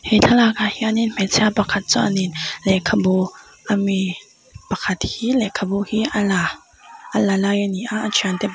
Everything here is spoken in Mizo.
he thlalak ah hian in hmeichhia pakhat chuan in lehkhabu a mi pakhat hi lehkha hi a la a la lai a ni a a thian te pa --